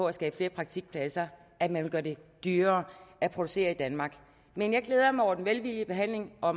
at skabe flere praktikpladser at man vil gøre det dyrere at producere i danmark men jeg glæder mig over den velvillige behandling og